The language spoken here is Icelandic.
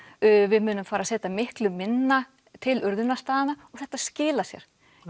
við munum fara að setja miklu minna til og þetta skilar sér